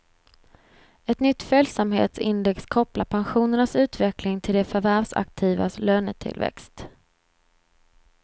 Ett nytt följsamhetsindex kopplar pensionernas utveckling till de förvärvsaktivas lönetillväxt.